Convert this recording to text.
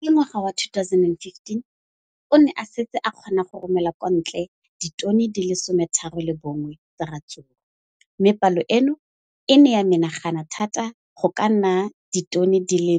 Ka ngwaga wa 2015, o ne a setse a kgona go romela kwa ntle ditone di le 31 tsa ratsuru mme palo eno e ne ya menagana thata go ka nna ditone di le